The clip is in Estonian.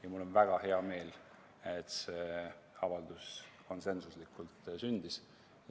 Ja mul on väga hea meel, et see avaldus konsensuslikult sündis.